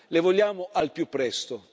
Le vogliamo al più presto.